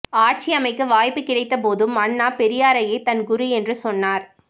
ஆட்சியமைக்க வாய்ப்பு கிடைத்தபோதும் அண்ணா பெரியாரையே தன் குரு என்று சொன்னார்